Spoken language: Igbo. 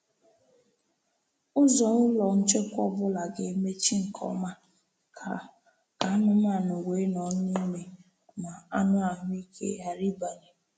Ụzọ ụlọ nchekwa ọ bụla ga-emechi nke ọma ka ka anụmanụ wee nọ n’ime ma anụ ahụ ike ghara ịbanye.